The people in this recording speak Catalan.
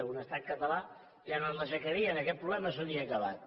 en un estat català ja no ens l’aixecarien aquest problema s’hauria acabat